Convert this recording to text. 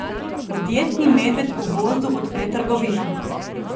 Podjetni medved v gozdu odpre trgovino.